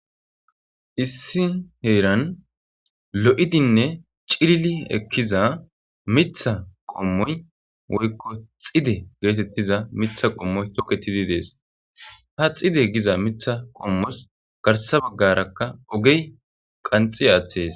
issi heeran lo'idinne cilili ekkiza mitha qommoy woykko xide geetettiza mitha qommoy toketidi dees ha xide giza mitha qommos garsa baggarakka ogey qanxi aththees